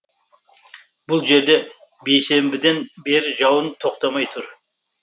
бұл жерде бейсенбіден бері жауын тоқтамай тұр